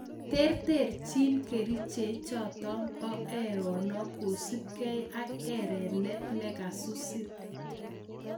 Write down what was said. Terterchin keriche chotok poo erenook kosup gei ak erenet nekasusin